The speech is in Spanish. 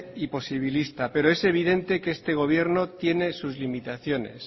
y posibilista pero es evidente que este gobierno tiene sus limitaciones